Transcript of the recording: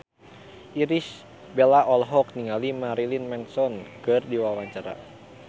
Irish Bella olohok ningali Marilyn Manson keur diwawancara